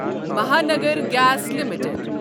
Mahanagar gas limited